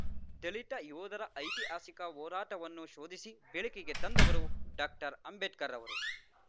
ದಲಿತ ಯೋಧರ ಐತಿಹಾಸಿಕ ಹೋರಾಟವನ್ನು ಶೋಧಿಸಿ ಬೆಳಕಿಗೆ ತಂದವರು ಡಾಕ್ಟರ್ಅಂಬೇಡ್ಕರ್‌ ಅವರು